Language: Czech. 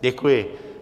Děkuji.